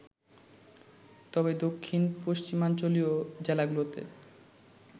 তবে দক্ষিণ পশ্চিমাঞ্চলীয় জেলাগুলোতে